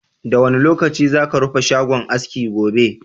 Da wane lokaci za ka rufe shagon aski gobe?